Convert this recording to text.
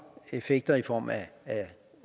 effekter i form af et